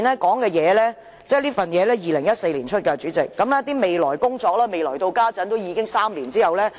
這份2014年發出的文件提到的"未來工作"，至今已過了3年，卻仍音訊全無。